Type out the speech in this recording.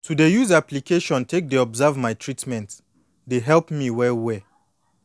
to dey use application take dey observe my treatment dey help me well well